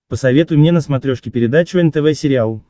посоветуй мне на смотрешке передачу нтв сериал